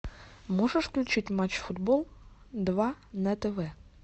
можешь включить матч футбол два на тв